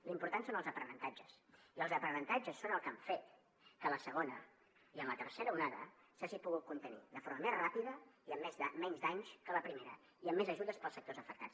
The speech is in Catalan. l’important són els aprenentatges i els aprenentatges són el que han fet que la segona i la tercera onada s’hagin pogut contenir de forma més ràpida i amb menys danys que la primera i amb més ajudes per als sectors afectats